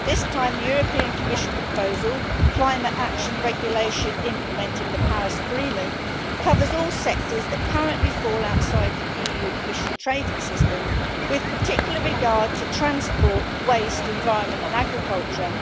This time the European Commission proposal, Climate Action Regulation implementing the Paris Agreement, covers all sectors that currently fall outside the EU emission trading system, with particular regard to transport, waste, environment and agriculture.